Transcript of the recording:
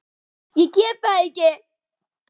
Ég get það ekki!